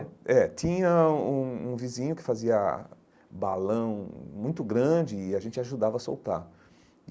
É, tinha um um vizinho que fazia balão muito grande e a gente ajudava a soltar.